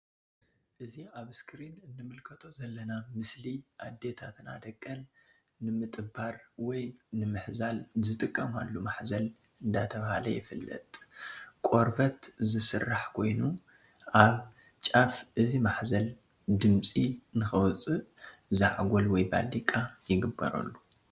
እዚ ኣብ እስክሪን እንምልከቶ ዘለና ምስሊ ኣዴታትና ደቀን ንምጥባር ወይ ንምሕዛል ዝጥቀማሉ ማሕዘል ዳተብሃለ ይፍለጥ። ካ ቆርበት ዝስራሕ ኮይኑ ኣብ ጫፍ እዚ ማሕዘል ድምጺ ንከውጽእ ዛዕጎል ወይ ባሊቃ ይግበረሉ።